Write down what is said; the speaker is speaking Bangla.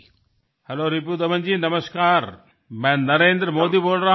হ্যালো রিপুদামনজী আমি নরেন্দ্র মোদী বলছি